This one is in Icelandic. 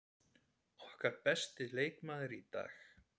Okkar besti leikmaður í dag.